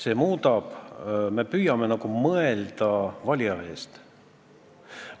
See muudab seda, et me püüame nagu mõelda valija eest.